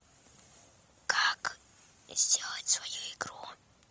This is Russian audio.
как сделать свою игру